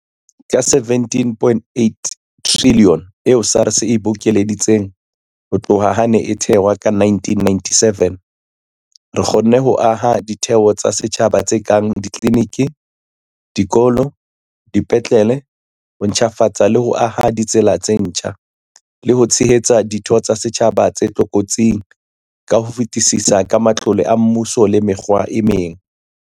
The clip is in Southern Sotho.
Ka R17.8 trilione eo SARS e bokeleditseng ho tloha ha e ne e thehwa ka 1997, re kgonne ho aha ditheo tsa setjhaba tse kang ditliniki, dikolo, dipetlele, ho ntjhafatsa le ho aha ditsela tse ntjha, le ho tshehetsa ditho tsa setjhaba tse tlokotsing ka ho fetisisa ka matlole a mmuso le mekgwa e meng.